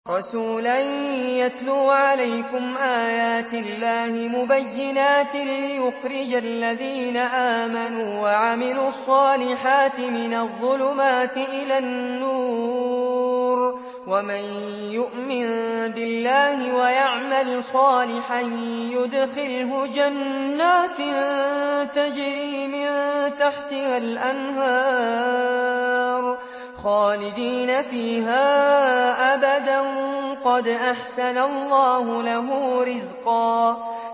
رَّسُولًا يَتْلُو عَلَيْكُمْ آيَاتِ اللَّهِ مُبَيِّنَاتٍ لِّيُخْرِجَ الَّذِينَ آمَنُوا وَعَمِلُوا الصَّالِحَاتِ مِنَ الظُّلُمَاتِ إِلَى النُّورِ ۚ وَمَن يُؤْمِن بِاللَّهِ وَيَعْمَلْ صَالِحًا يُدْخِلْهُ جَنَّاتٍ تَجْرِي مِن تَحْتِهَا الْأَنْهَارُ خَالِدِينَ فِيهَا أَبَدًا ۖ قَدْ أَحْسَنَ اللَّهُ لَهُ رِزْقًا